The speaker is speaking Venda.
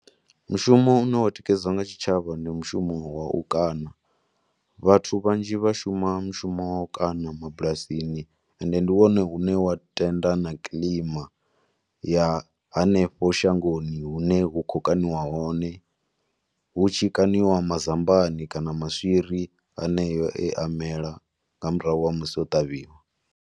Mushumo une wa tikedzwa nga tshitshavha ndi mushumo wa u kaṋa, vhathu vhanzhi vha shuma mushumo wa u kaṋa mabulasini ende ndi wone une wa tenda na kilima ya hanefho shangoni hune hu khou kaniwa hone, hu tshi kaṋiwa mazambani kana maswiri aneyo e a mela nga murahu ha musi o ṱavhiwa.